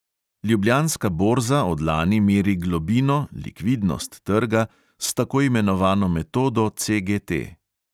Ljubljanska borza od lani meri globino trga s tako imenovano metodo CGT.